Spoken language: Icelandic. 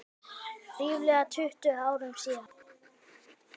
Ríflega tuttugu árum síðar.